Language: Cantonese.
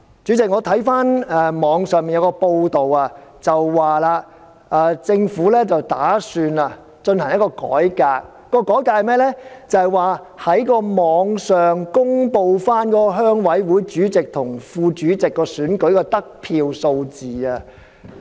代理主席，網上報道政府打算進行一項改革，就是在網上公布鄉事會主席及副主席選舉的得票數字。